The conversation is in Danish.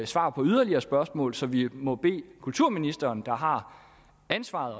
svar på yderligere spørgsmål så vi må bede kulturministeren der har ansvaret